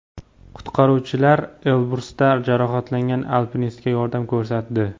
Qutqaruvchilar Elbrusda jarohatlangan alpinistga yordam ko‘rsatdi.